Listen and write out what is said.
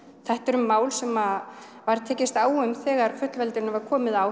þetta eru mál sem var tekist á um þegar fullveldinu var komið á